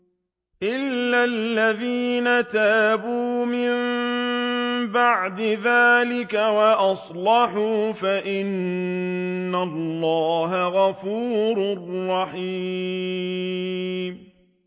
إِلَّا الَّذِينَ تَابُوا مِن بَعْدِ ذَٰلِكَ وَأَصْلَحُوا فَإِنَّ اللَّهَ غَفُورٌ رَّحِيمٌ